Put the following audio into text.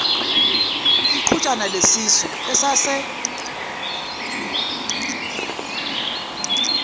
iqhutshana lesisu esase